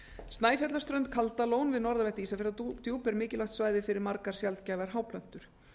snæfjallaströnd til kaldalón við norðanvert ísafjarðardjúp er mikilvægt svæði fyrir margar sjaldgæfar háplöntur